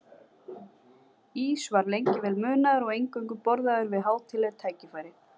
Ís var lengi vel munaður og eingöngu borðaður við hátíðleg tækifæri.